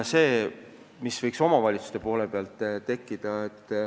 Seda võiks omavalitsustelt oodata.